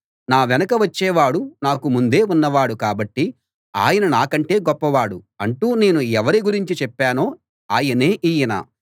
నా వెనక వచ్చేవాడు నాకు ముందే ఉన్నవాడు కాబట్టి ఆయన నాకంటే గొప్పవాడు అంటూ నేను ఎవరి గురించి చెప్పానో ఆయనే ఈయన